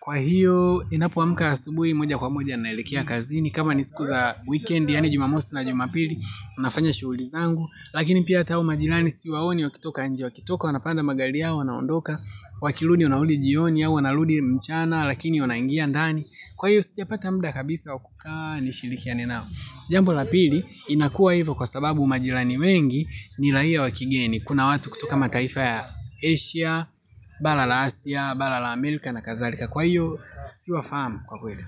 Kwa hiyo, ninapoamka asubuhi moja kwa moja naelekea kazini, kama ni siku za weekend, yaani jumamosi na jumapili, nafanya shughuli zangu. Lakini pia hata hao majirani siwaoni, wakitoka nje, wakitoka wanapanda magari yao, wanaondoka, wakirudi, wanarudi jioni au, wanarudi mchana, lakini wanaingia ndani. Kwa hiyo, sijapata muda kabisa wa kukaa, nishirikiane nao. Jambo la pili inakuwa hivyo kwa sababu majirani wengi ni raia wa kigeni. Kuna watu kutoka mataifa ya Asia, bala la Asia, bala la Amerika na kadhalika. Kwa hiyo, siwafahamu kwa kweli.